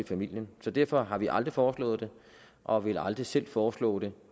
familie derfor har vi aldrig foreslået det og vil aldrig selv foreslå det